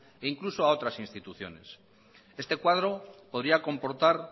e incluso a otras instituciones este cuadro podría comportar